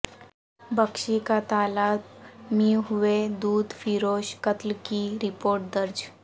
بخشی کاتالاب میںہوئے دودھ فروش قتل کی رپورٹ درج